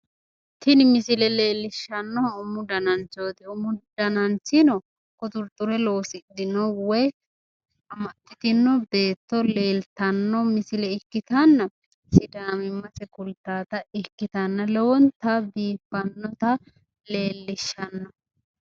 Tini misile leellishshannohu umu dananchooti. Umu dananchino quxurxure loosidhino woyi amaxxitinno beetto leeltanno misile ikkitanna sidaamimmase kultawota ikkitanna lowonta biiffannota leellishshanno.